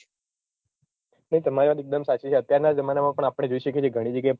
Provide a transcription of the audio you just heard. તમારી વાત એકદમ સાચી છે અત્યારનાં જમાનામાં પણ આપણે જોઈ શકીએ છીએ ઘણી જગ્યાએ